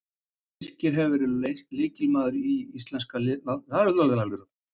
Birkir hefur verið lykilmaður í íslenska landsliðinu.